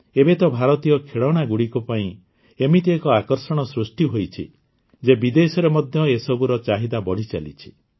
ଏବେ ତ ଭାରତୀୟ ଖେଳଣାଗୁଡ଼ିକ ପାଇଁ ଏମିତି ଏକ ଆକର୍ଷଣ ସୃଷ୍ଟି ହୋଇଛି ଯେ ବିଦେଶରେ ମଧ୍ୟ ଏସବୁର ଚାହିଦା ବଢ଼ିଚାଲିଛି